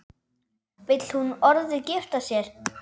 Vill hún orðið giftast þér?